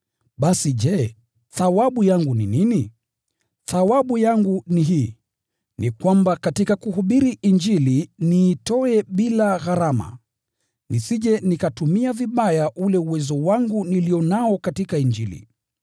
Basi je, thawabu yangu ni nini? Thawabu yangu ni hii: Ya kwamba katika kuhubiri Injili niitoe bila gharama, bila kutumia kwa utimilifu uwezo wangu nilio nao katika Injili.